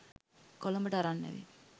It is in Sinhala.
කොළඹට අරන් ඇවිත්